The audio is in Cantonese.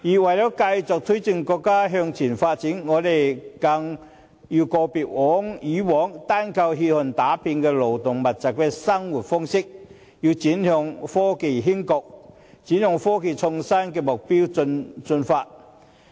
為了繼續推進國家向前發展，我們更要告別以往單靠血汗打拼的勞動密集的生產模式，而轉向科技興國，轉向科技創新的目標進發。